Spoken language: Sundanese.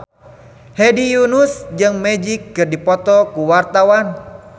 Hedi Yunus jeung Magic keur dipoto ku wartawan